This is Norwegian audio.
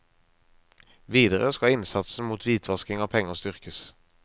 Videre skal innsatsen mot hvitvasking av penger styrkes.